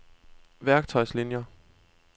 værktøjslinier